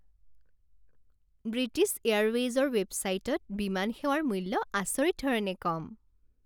British এয়াৰৱেইজৰ ৱেবছাইটত বিমান সেৱাৰ মূল্য আচৰিত ধৰণে কম।